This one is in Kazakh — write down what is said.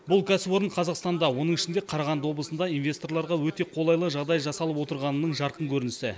бұл кәсіпорын қазақстанда оның ішінде қарағанды облысында инвесторларға өте қолайлы жағдай жасалып отырғанының жарқын көрінісі